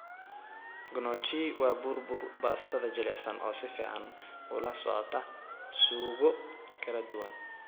Gnocchi waa bur bur baastada jilicsan oo si fiican ula socota suugo kala duwan.